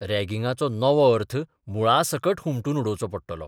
रॅगिंगाचो नवो अर्थ मुळासकट हुमटून उडोवचो पडटलो.